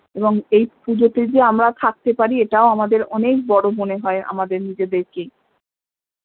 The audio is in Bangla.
এবং এই পূজোতে যে আমরা থাকতে পারি এটাও আমাদের অনেক বড় মনে হয় আমাদের নিজেদের কে